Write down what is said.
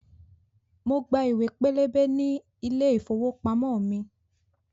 Mo gba ìwé pélébé ní ilé ìfowópamọ́ mi